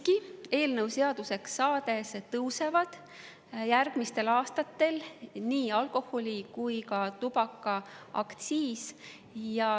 Aga eelnõu seaduseks saades tõuseb järgmistel aastatel nii alkoholi‑ kui ka tubakaaktsiis.